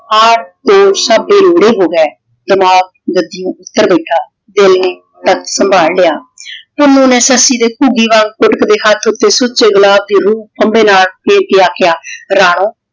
ਬੇਲੋੜੇ ਹੋ ਗਏ ਦਿਮਾਗ ਗੱਦੀਆਂ ਉੱਤਰ ਬੈਠਾ। ਦਿਲ ਨੇ ਤਖਤ ਸੰਭਾਲ ਲਿਆ ।ਪੁੰਨੂੰ ਨੇ ਸੱਸੀ ਦੇ ਘੁੱਗੀ ਵਾਂਗ ਫੁਟਕਦੇ ਹੱਥ ਉੱਤੇ ਸੁੱਚੇ ਗਿਲਾਸ ਦੇ ਰੂਹ ਫੰਬੇ ਨਾਲ ਦੇ ਕੇ ਆਖਿਆ ਰਾਣੋ